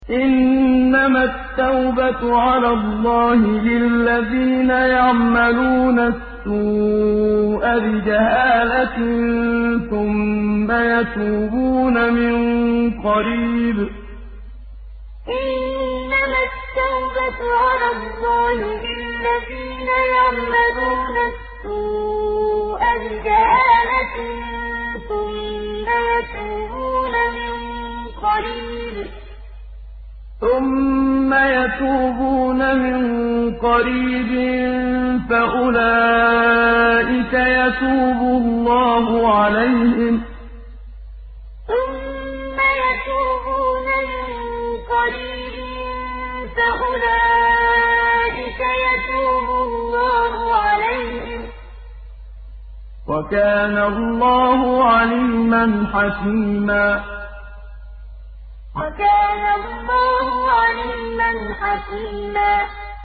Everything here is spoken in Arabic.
إِنَّمَا التَّوْبَةُ عَلَى اللَّهِ لِلَّذِينَ يَعْمَلُونَ السُّوءَ بِجَهَالَةٍ ثُمَّ يَتُوبُونَ مِن قَرِيبٍ فَأُولَٰئِكَ يَتُوبُ اللَّهُ عَلَيْهِمْ ۗ وَكَانَ اللَّهُ عَلِيمًا حَكِيمًا إِنَّمَا التَّوْبَةُ عَلَى اللَّهِ لِلَّذِينَ يَعْمَلُونَ السُّوءَ بِجَهَالَةٍ ثُمَّ يَتُوبُونَ مِن قَرِيبٍ فَأُولَٰئِكَ يَتُوبُ اللَّهُ عَلَيْهِمْ ۗ وَكَانَ اللَّهُ عَلِيمًا حَكِيمًا